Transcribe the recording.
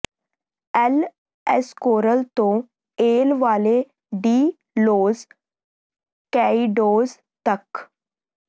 L Escorial ਤੋਂ El Valle de los Caidos ਤੱਕ